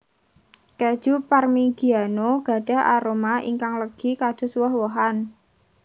Kèju Parmigiano gadhah aroma ingkang legi kados woh wohan